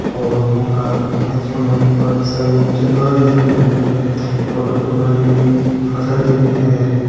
ओर गों का एंच फुन हमि भरी सारु जंगल दिख्येण लग्युं और डोखरु मा जी हमि फसल दिखेणी हरयां-हरयां।